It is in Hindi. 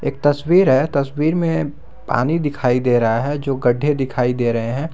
एक तस्वीर है तस्वीर में पानी दिखाई दे रहा है जो गड्ढे दिखाई दे रहे हैं।